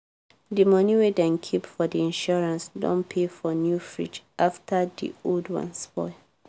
di money wey dem keep for the insurance don pay for new fridge afta di old one spoil.